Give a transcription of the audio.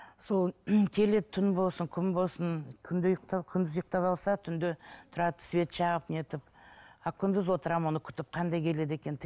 сол келеді түн болсын күн болсын күндіз ұйықтап алса түнде тұрады свет жағып не етіп а күндіз отырамын оны күтіп қандай келеді екен